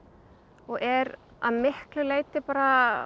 og er að miklu leyti bara